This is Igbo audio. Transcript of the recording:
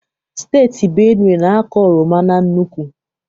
Steeti Benue na-akọ oroma na nnukwu.